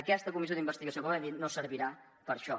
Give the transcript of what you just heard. aquesta comissió d’investigació com hem dit no servirà per a això